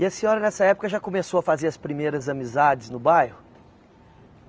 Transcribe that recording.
E a senhora, nessa época, já começou a fazer as primeiras amizades no bairro?